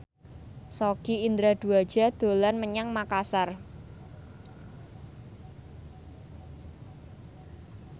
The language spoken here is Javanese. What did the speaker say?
Sogi Indra Duaja dolan menyang Makasar